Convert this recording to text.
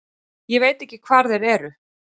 Ég veit ekki hvar þeir eru.